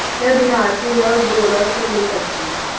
वह बिहार से है और बोल और सुन नहीं सकती